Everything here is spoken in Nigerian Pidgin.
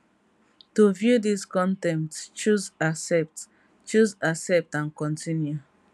to view dis con ten t choose accept choose accept and continue